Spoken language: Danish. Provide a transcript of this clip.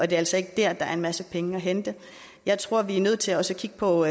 det altså ikke der der er en masse penge at hente jeg tror vi er nødt til også at kigge på